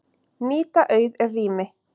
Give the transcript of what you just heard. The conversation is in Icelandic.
Nýta auð rými